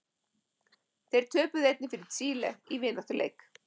Þeir töpuðu einnig fyrir Chile í vináttuleik.